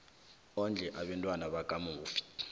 ondle abantwana bakamufi